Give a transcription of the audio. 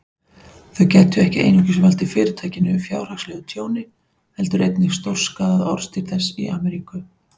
Þau gætu ekki einungis valdið Fyrirtækinu fjárhagslegu tjóni, heldur einnig stórskaðað orðstír þess í Ameríku.